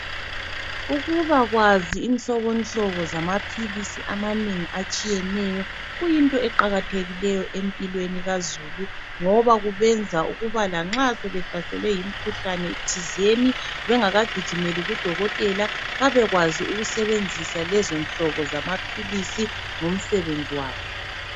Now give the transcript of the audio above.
Ukubakwazi inhlobonhlobo zamaphilisi amanengi atshiyeneyo kuyinto eqakathekileyo empilweni kazulu ngoba kubenza ukuba lanxa sebehlaselwe yimikhuhlane thizeni bengaka gijimeli kudokotela babekwazi ukusebenzisa lezonhlobo zamaphilisi ngomsebenzi wazo.